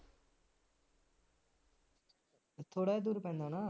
ਥੋੜਾ ਇ ਦੂਰ ਪੈਂਦਾ ਨਾ